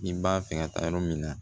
Ni b'a fɛ ka taa yɔrɔ min na